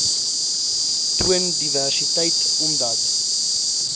toon diversiteit omdat